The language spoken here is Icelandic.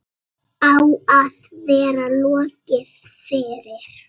Á að vera lokið fyrir